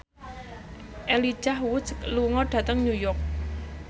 Elijah Wood lunga dhateng New York